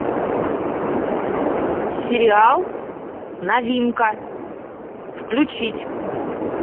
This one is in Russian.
сериал новинка включить